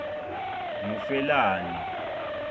ngufelani